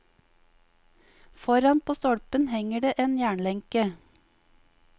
Foran på stolpen henger det en jernlenke.